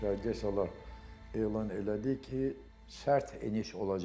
qaydaya salıb elan elədi ki, sərt eniş olacaq.